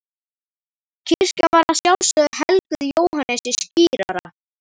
Kirkjan var að sjálfsögðu helguð Jóhannesi skírara.